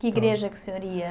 Que igreja que o senhor ia?